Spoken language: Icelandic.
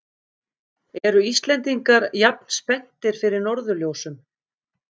Eru Íslendingar jafn spenntir fyrir norðurljósum?